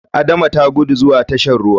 Adama ta guda zuwa tashan ruwan.